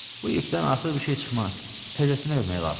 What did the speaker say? Bu ipdən artıq bir şey çıxmaz, təzəsinə hörmək lazımdır.